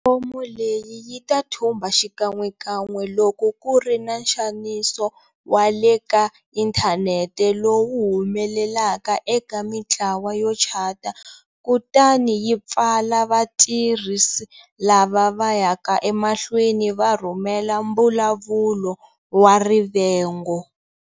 Pulatifomo leyi yi ta thumba xikan'wekan'we loko ku ri na nxaniso wa le ka inthanete lowu humelelaka eka mitlawa yo chata kutani yi pfala vatirhisi lava va yaka emahlweni va rhumela mbulavulo wa rivengo.